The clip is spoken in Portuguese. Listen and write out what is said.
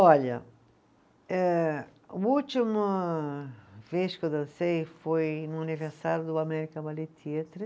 Olha, eh última vez que eu dancei foi no aniversário do American Ballet Theatre.